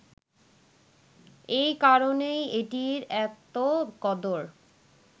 এ কারণেই এটির এত কদর